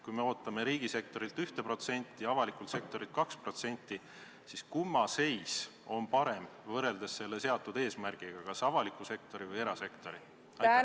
Kui me ootame riigisektorilt 1% ja erasektorilt 2%, siis kumma seis on parem võrreldes seatud eesmärgiga – kas avaliku sektori või erasektori oma?